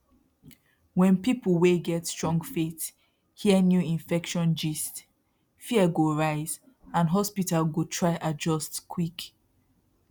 when people wey get strong faith hear new infection gist fear go rise and hospital go try adjust quick